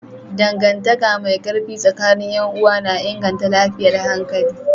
Dangantaka mai ƙarfi tsakanin 'yan uwa na inganta lafiyar hankali.